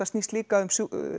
snýst líka um